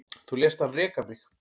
Þú lést hann reka mig